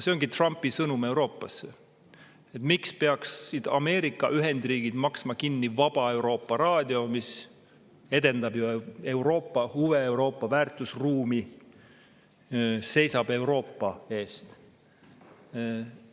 See ongi Trumpi sõnum Euroopasse: miks peaksid Ameerika Ühendriigid maksma kinni Raadio Vaba Euroopa, mis edendab ju Euroopa huve, Euroopa väärtusruumi ja seisab Euroopa eest?